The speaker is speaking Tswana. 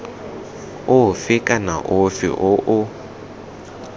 ofe kana ofe o o